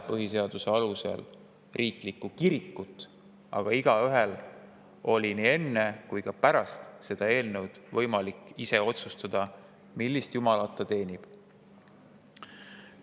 Põhiseaduse alusel Eestis ei ole kirikut ja igaühel on olnud nii enne selle eelnõu kui on ka pärast seda võimalik ise otsustada, millist jumalat ta teenib.